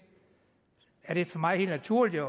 er det derfor for mig helt naturligt